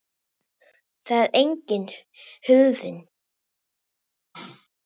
Þar er einnig hurðin.